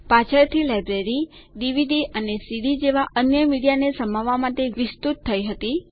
પાછળથી library DVD અને CD જેવાં અન્ય મીડિયાને સમાવવા માટે વિસ્તૃત થઇ હતી